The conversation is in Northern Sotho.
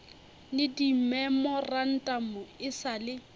le dimemorantamo e sa le